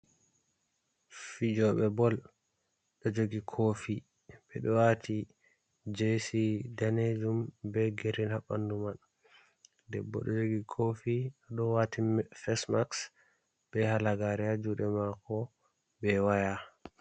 Fijoɓe bol ɗo jogi kofi ɓe ɗo wati jesi danejum be girin ha ɓandu man. Debbo ɗo jogi kofi o ɗo wati me fesmaks be halagare haa juɗe mako be waya.